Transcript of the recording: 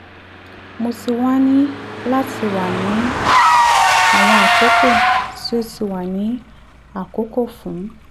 mo ti wa ni lati wa ni awọn akọkọ ti o ti wa ni akọkọ fun